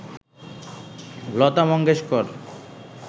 Lata Mangeshkar